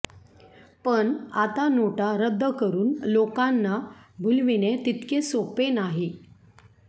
पण आता नोटा रद्द करून लोकांना भुलविणे तितके सोपे नाही